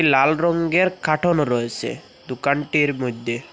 লাল রঙ্গের কার্টুনও রয়েছে দোকানটির মইধ্যে ।